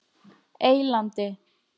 Eylandi